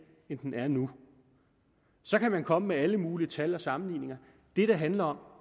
end den er nu så kan man komme med alle mulige tal og sammenligninger det det handler om